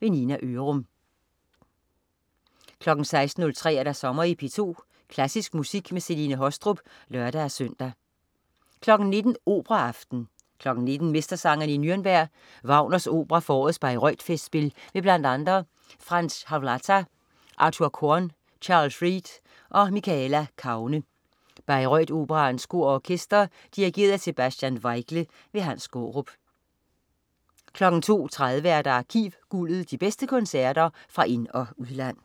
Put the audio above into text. Nina Ørum 16.03 Sommer i P2. Klassisk musik med Celine Haastrup (lør-søn) 19.00 Operaaften. 19.00 Mestersangerne i Nürnberg. Wagners opera fra årets Bayreuth-festspil med bl.a. Franz Hawlata, Artur Korn, Charles Reid og Michaela Kaune. Bayreuth Operaens Kor og Orkester. Dirigent: Sebastian Weigle. Hans Skaarup 02.30 Arkivguldet. De bedste koncerter fra ind- og udland